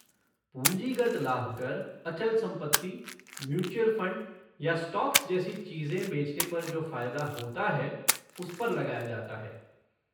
पूंजीगत लाभ कर अचल संपत्ति, म्यूचुअल फ़ंड या स्टॉक्स जैसी चीज़ें बेचने पर जो फ़ायदा होता है उस पर लगाया जाता है।